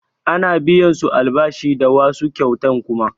A ana biyan su albashi da wasu kyautan kuma